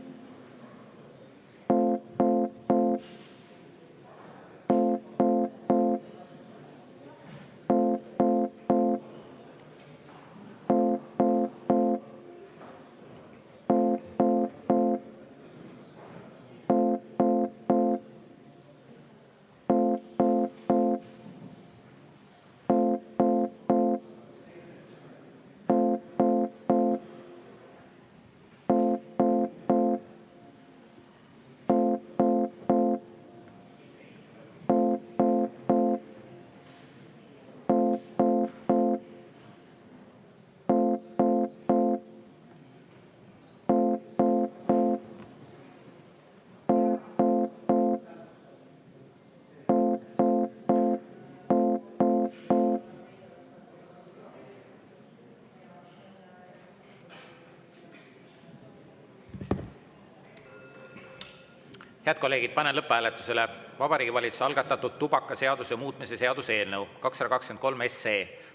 Head kolleegid, panen lõpphääletusele Vabariigi Valitsuse algatatud tubakaseaduse muutmise seaduse eelnõu 223 SE.